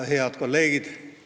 Head kolleegid!